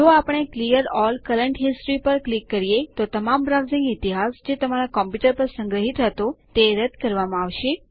જો આપણે clear all current history પર ક્લિક કરીએ તો તમામ બ્રાઉઝિંગ ઇતિહાસ જે તમારા કમ્પ્યુટર પર સંગ્રહિત હતો તે રદ કરવામાં આવશે